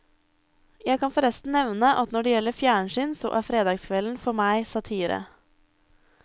Jeg kan forresten nevne at når det gjelder fjernsyn så er fredagskvelden for meg satire.